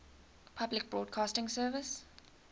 public broadcasting service